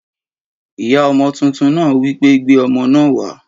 Ìyá ọmọ tuntun náà wí pé Gbé ọmọ náà wàá!